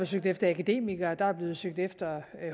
søgt efter akademikere der er blevet søgt efter